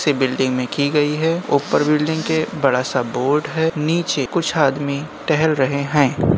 Building में की गयी है ऊपर बिल्डिंग के बड़ा सा बोर्ड है नीचे कुछ आदमी टहल रहे हैं।